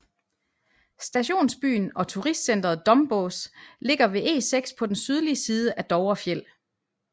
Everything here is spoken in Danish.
Stationsbyen og turistcentret Dombås ligger ved E6 på den sydlige side af Dovrefjell